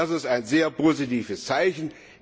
Das ist ein sehr positives Zeichen.